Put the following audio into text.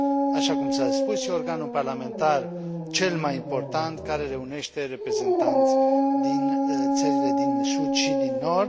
Așa cum s a spus, este organul parlamentar cel mai important care reunește reprezentanți din țările din sud și din nord.